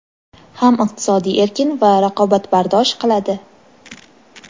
ham iqtisodiy erkin va raqobatbardosh qiladi.